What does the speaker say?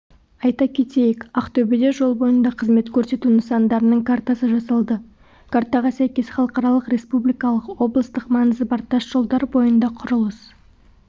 айта кетейік ақтөбеде жол бойында қызмет көрсету нысандарының картасы жасалды картаға сәйкес халықаралық республикалық облыстық маңызы бар тас жолдар бойында құрылыс